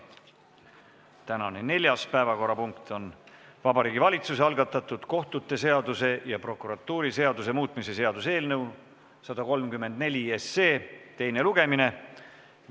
Tänane neljas päevakorrapunkt on Vabariigi Valitsuse algatatud kohtute seaduse ja prokuratuuriseaduse muutmise seaduse eelnõu 134 teine lugemine.